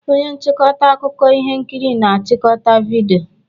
Onye nchịkọta akụkọ ihe nkiri na-achịkọta vidiyo